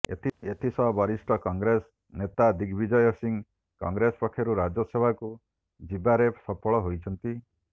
ଏଥି ସହ ବରିଷ୍ଠ କଂଗ୍ରେସ ନେତା ଦିଗବିଜୟ ସିଂ କଂଗ୍ରେସ ପକ୍ଷରୁ ରାଜ୍ୟସଭାକୁ ଯିବାରେ ସଫଳ ହୋଇଛନ୍ତି